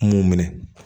Mun minɛ